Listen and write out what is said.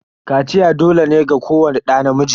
Kaciya dole ne ga kowani ɗa namiji.